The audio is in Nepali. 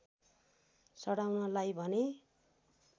चढाउनलाई भने